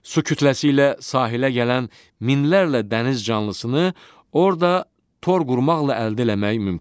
Su kütləsi ilə sahilə gələn minlərlə dəniz canlısını orda tor qurmaqla əldə eləmək mümkündür.